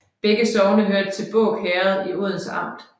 Begge sogne hørte til Båg Herred i Odense Amt